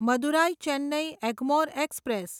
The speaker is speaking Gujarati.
મદુરાઈ ચેન્નઈ એગ્મોર એક્સપ્રેસ